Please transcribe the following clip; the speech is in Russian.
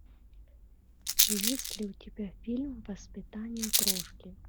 есть ли у тебя фильм воспитание крошки